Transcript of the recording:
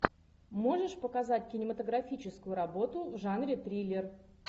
можешь показать кинематографическую работу в жанре триллер